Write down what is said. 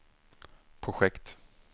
projekt